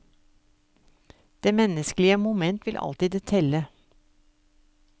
Det menneskelige moment vil alltid telle.